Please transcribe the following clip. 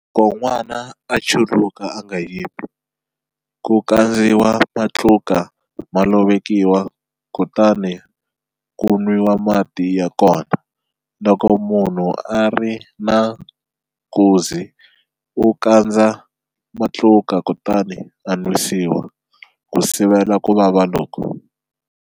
Loko n'wana a chuluka a nga yimi, ku kandziwa matluka ma lovekiwa kutani ku nwiwa mati ya kona. Loko munhu a ri na nkuzi u kandza matluka kutani a nwisiwa, ku sivela ku vava loku.